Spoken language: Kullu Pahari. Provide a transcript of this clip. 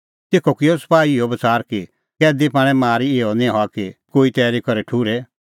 तेखअ किअ सपाही इहअ बच़ार कि कैदी पाणै मारी इहअ निं हआ कि कोई तैरी करै ठुर्हे